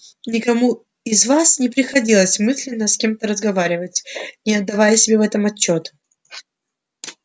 никому из вас не приходилось мысленно с кем-то разговаривать не отдавая себе в этом отчёт